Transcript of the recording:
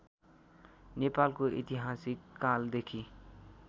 नेपालको ऐतिहासिक कालदेखि